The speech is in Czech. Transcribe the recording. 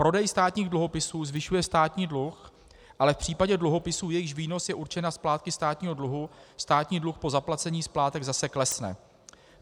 Prodej státních dluhopisů zvyšuje státní dluh, ale v případě dluhopisů, jejichž výnos je určen na splátky státního dluhu, státní dluh po zaplacení splátek zase klesne.